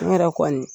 N yɛrɛ kɔni